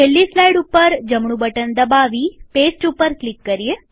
છેલ્લી સ્લાઈડ ઉપર જમણું બટન દબાવીપેસ્ટ ઉપર ક્લિક કરીએ